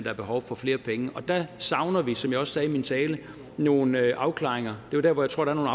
er behov for flere penge der savner vi som jeg også sagde i min tale nogle afklaringer det er der hvor jeg tror at